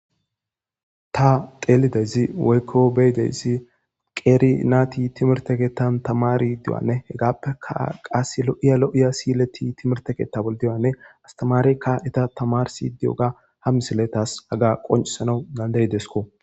Tateelidezi woykko beydeyssi qeeri naati timerteketan tamari diwanne hegaappeka qas lo'iya lo'iya siyleti timerteketa bol diwanne astamarekka esta tamarsi diyoga hamisile taas aga qoncisana gandayidesko.